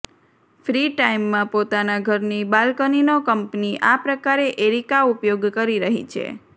free ટાઈમમાં પોતાના ઘરની બાલકનીનો કંઈક આ પ્રકારે એરિકા ઉપયોગ કરી રહી છે